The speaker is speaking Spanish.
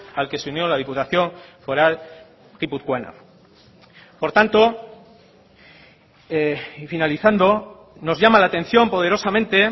al que se unió la diputación foral guipuzcoana por tanto y finalizando nos llama la atención poderosamente